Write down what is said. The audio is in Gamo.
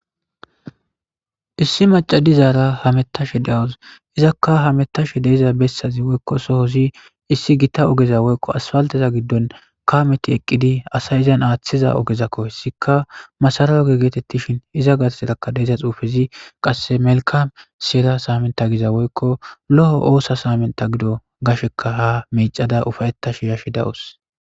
issi macadizaara hamettashe dawus izakka hamettash deeza bessazi woykko sohozi issi gita ogeza woykko asfaltaza giddon kameti eqqidi asay izan aaththiza ogezakko hessika masarawo ge geetettishin iza gat erakka deeza xuufezi qasse melkam siera saamenta giza woykko lo7o oosa saamenta gido gasheka ha meicada ufayettash yashshi dawus